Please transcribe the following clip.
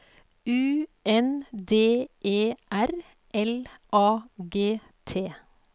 U N D E R L A G T